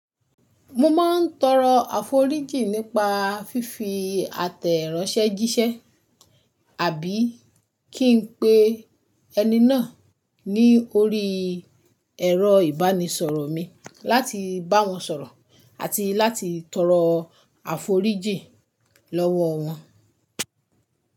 Mo ma ń tọrọ àforíjìn nípa fífi àtẹ̀ránsẹ́ jíṣẹ́ àbí kí n pe ẹni náà ní orí ẹ̀rọ ìbánisọ̀rọ̀ mi láti bá wọn sọ̀rọ̀ àti láti tọrọ àforíjìn lọ́wọ́ wọn.